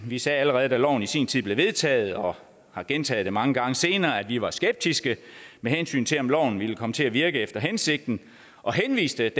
vi sagde allerede da loven i sin tid blev vedtaget og har gentaget det mange gange senere at vi var skeptiske med hensyn til om loven ville komme til at virke efter hensigten og henviste